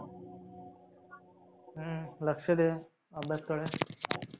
हम्म लक्ष द्या अभ्यासकडे.